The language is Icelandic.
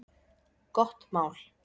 Gott mál!